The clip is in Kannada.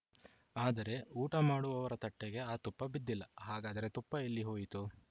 ಆದರೆ ಊಟ ಮಾಡುವವರ ತಟ್ಟೆಗೆ ಆ ತುಪ್ಪ ಬಿದ್ದಿಲ್ಲ ಹಾಗಾದರೆ ತುಪ್ಪ ಎಲ್ಲಿಹೋಯಿತು